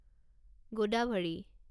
Godavari